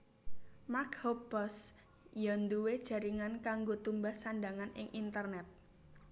Mark Hoppus ya nduwé jaringan kanggo tumbas sandhangan ing internet